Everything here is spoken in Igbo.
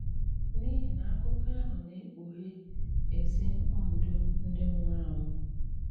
N’ìhì na àkụ̀kọ àhụ na-ekpùghè èzi òndò ndị nwùrù ànwù.